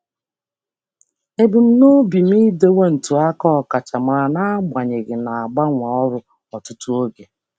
Ana m agbalị ịnọgide na-enwe akaebe ọkachamara n'agbanyeghị ịgbanwe ọrụ ọtụtụ ugboro.